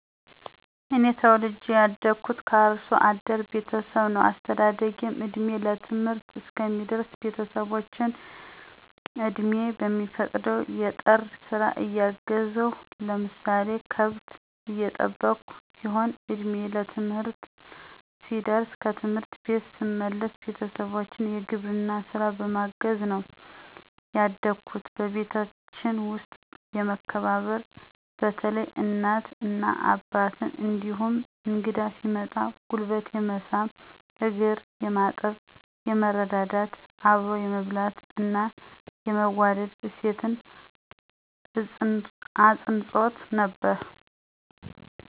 እኔ ተወልጀ ያደግሁት ከአርሶ አደር ቤተሠብ ነው አስተዳደጌም እድሜየ ለትምህርት እስከሚደርስ ቤተሠቦቸን አቅሜ በሚፈቅደው የጠር ስራ እያገዝሁ ለምሳሌ ከብት እየጠበቅሁ ሲሆን እድሜየ ለትምህርትም ሲደርስም ከትምህርት ቤት ስመለስ ቤተሠቦቸን የግብርና ስራ በማገዝ ነው ያደግሁት። በቤታችን ውስጥ የመከባበር በተለይ እናት እና አባትን እንዲሁም እንግዳ ሲመጣ ጉልበት የመሳም እግር የማጠብ፣ የመረዳዳት፣ አብሮ የመብላት እና የመዋደድ እሴት አፅንዖት ነበር።